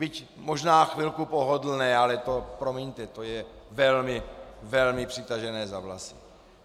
Byť možná chvilku pohodlné, ale to, promiňte, to je velmi, velmi přitažené za vlasy.